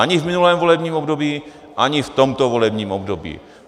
Ani v minulém volebním období, ani v tomto volebním období.